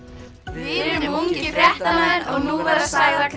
við erum ungir fréttamenn og nú verða sagðar